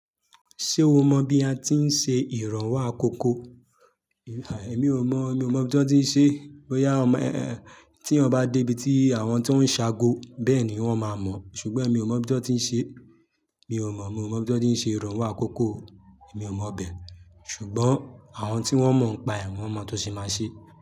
Ṣé o mọ bí a ti ń ṣe ìrànwọ́ àkókò? Èmi ò mọ̀, mi ò mọ̀ bí wọ́n ti ń ṣe. Bóyá, tí èèyàn bá dé ibi tí àwọn tán ṣe àgọ́, bẹ́ẹ̀ ni wọ́n máa mọ̀, ṣùgbọ́n èmi ò mọ ibi tí wọ́n ti ń ṣe. Mi ò mọ̀, mi ò mọ̀ bí wọ́n ti ń ṣe ìrànwọ́ àkókò. Mi ò mọ̀bẹ̀, ṣùgbọ́n àwọn tí wọ́n mọ̀ ń pa ẹ̀, wọ́n mọ̀ tó ṣe máa ṣe.